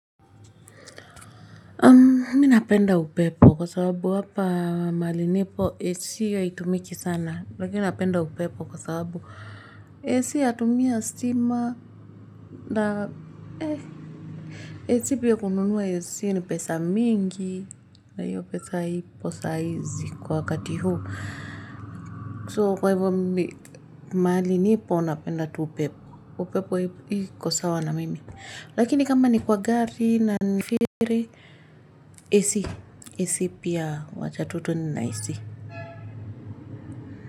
Mi napenda upepo kwa sababu hapa mahali nipo HCA itumiki sana lakini napenda upepo kwa sababu HCA atumia sima na eh. HCP pia kununuwa HCA ni pesa mingi na hiyo pesa haipi saizi kwa wakati huu. So kwa hivyo mali nipo unapenda tupepo. Upepo hii iko sawa na mimi. Lakini kama ni kwa gari na nasafiri Esi. Esi pia wacha tu twende na HC.